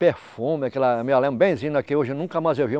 Perfume, aquela me lembro benzinho não é que hoje nunca mais eu vi.